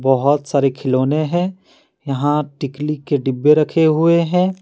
बहुत सारे खिलौने हैं यहां टिकली के डब्बे रखे हुए हैं।